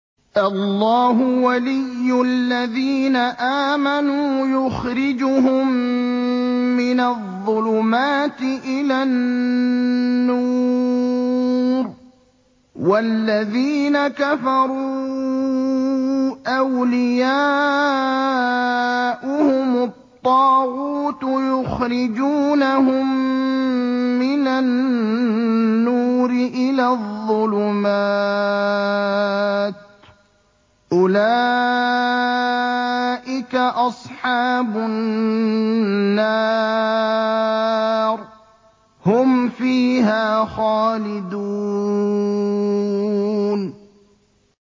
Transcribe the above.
اللَّهُ وَلِيُّ الَّذِينَ آمَنُوا يُخْرِجُهُم مِّنَ الظُّلُمَاتِ إِلَى النُّورِ ۖ وَالَّذِينَ كَفَرُوا أَوْلِيَاؤُهُمُ الطَّاغُوتُ يُخْرِجُونَهُم مِّنَ النُّورِ إِلَى الظُّلُمَاتِ ۗ أُولَٰئِكَ أَصْحَابُ النَّارِ ۖ هُمْ فِيهَا خَالِدُونَ